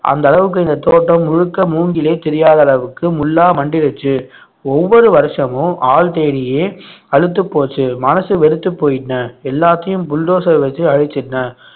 அந்த அளவுக்கு இந்த தோட்டம் முழுக்க மூங்கிலே தெரியாத அளவுக்கு முள்ளா மண்டியிடுச்சு ஒவ்வொரு வருஷமும் ஆள் தேடியே அலுத்து போச்சு மனசு வெறுத்துப் போயிட்டேன் எல்லாத்தையும் புல்டோசர் வச்சு அழிச்சிட்டேன்